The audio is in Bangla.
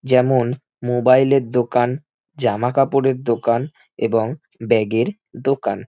যেমন মোবাইল -এর দোকান জামা কাপড়ের দোকান এবং ব্যাগ -এর দোকান।